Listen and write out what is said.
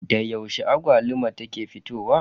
Da yaushe agwaluma ke fitowa?